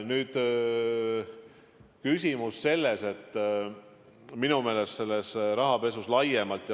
Nüüd, küsimus on minu meelest rahapesus laiemalt.